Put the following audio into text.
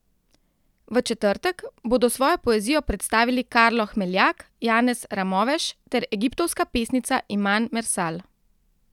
V četrtek bodo svojo poezijo predstavili Karlo Hmeljak, Janez Ramoveš ter egiptovska pesnica Iman Mersal.